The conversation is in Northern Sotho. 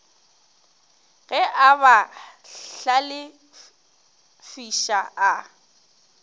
ge a ba hlalefiša a